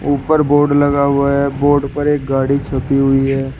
ऊपर बोर्ड लगा हुआ है बोर्ड पर एक गाड़ी छपी हुई है।